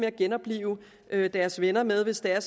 at genoplive deres venner med hvis der